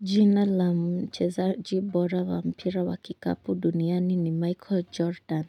Jina la mchezaji bora wa mpira wa kikapu duniani ni Michael Jordan.